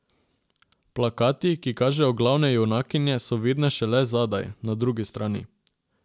Plakati, ki kažejo glavne junakinje, so vidni šele zadaj, na drugi strani.